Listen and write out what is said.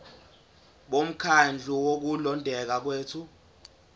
bomkhandlu wokulondeka kwethu